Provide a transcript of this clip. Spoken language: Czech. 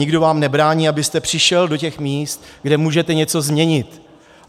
Nikdo vám nebrání, abyste přišel do těch míst, kde můžete něco změnit.